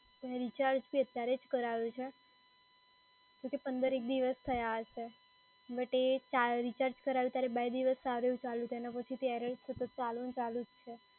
અને રિચાર્જ બી અતારે જ કરાયું છે. હજુ તો પંદર એક દિવસ થયા હશે. બટ એ ચા રિચાર્જ કરાયું ત્યારે બે દિવસ સારું ચાલ્યું હતું, એના પછી error સતત ચાલુને ચાલુ જ છે.